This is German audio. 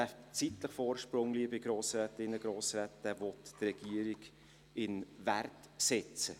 Diesen zeitlichen Vorsprung, liebe Grossrätinnen und Grossräte, will die Regierung in Wert setzen.